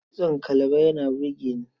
Kitson kalaba yana burge ni.